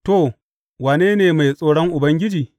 To wane ne mai tsoron Ubangiji?